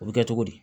O bɛ kɛ cogo di